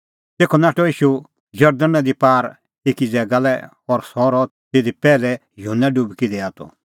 तेखअ नाठअ ईशू जरदण नदी पार एकी ज़ैगा लै और सह रहअ तिधी ज़िधी पैहलै युहन्ना डुबकी दैआ त